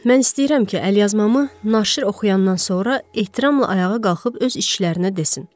Mən istəyirəm ki, əlyazmamı naşir oxuyandan sonra ehtiramla ayağa qalxıb öz işçilərinə desin: